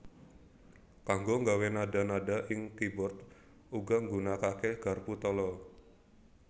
Kanggo nggawé nadha nadha ing keyboard uga nggunakaké garpu tala